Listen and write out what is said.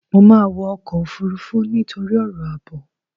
Mo máa wọ ọkọ̀ Òfurufú nítorí ọ̀rọ̀ àbò.